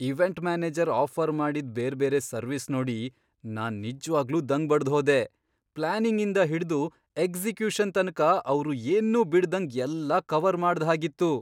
Event manager offer ಮಾಡಿದ್ ಬೇರ್ಬೇರೆ service ನೋಡಿ ನಾನ್ ನಿಜ್ವಾಗ್ಲೂ ದಂಗು ಬಡ್ದ್ಹೋದೆ, ಪ್ಲಾನಿಂಗಿಂದ ಹಿಡ್ದು ಎಕ್ಸಿಕ್ಯೂಷನ್ ತನಕ ಅವ್ರು ಏನ್ನೂ ಬಿಡ್ದಂಗ್ ಎಲ್ಲಾ ಕವರ್ ಮಾಡ್ದ್ಹಾಗಿತ್ತು!